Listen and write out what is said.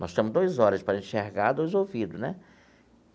Nós temos dois olhos para enxergar, dois ouvidos, né?